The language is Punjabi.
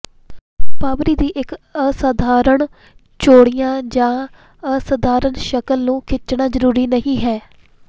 ਭਾਂਬਰੀ ਦੀ ਇੱਕ ਅਸਾਧਾਰਣ ਚੌੜੀਆਂ ਜਾਂ ਅਸਾਧਾਰਨ ਸ਼ਕਲ ਨੂੰ ਖਿੱਚਣਾ ਜ਼ਰੂਰੀ ਨਹੀਂ ਹੈ